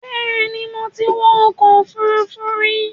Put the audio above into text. Bẹ́ẹ̀ni, mo ti wọ ọkọ̀ òfuurufú rí